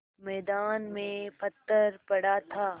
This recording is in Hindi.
मैदान में पत्थर पड़ा था